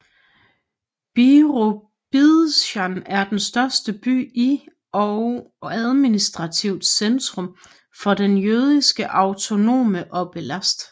Birobidzjan er den største by i og administrativt centrum for den Jødiske autonome oblast